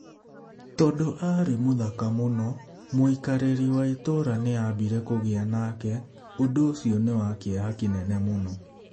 Tondũ aarĩ mũthaka mũno, mũikarĩri wa itũũra nĩ aambire kũgĩa nake, ũndũ ũcio nĩ wa kĩeha kĩnene mũno".